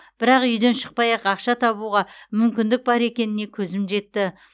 бірақ үйден шықпай ақ ақша табуға мүмкіндік бар екеніне көзім жетті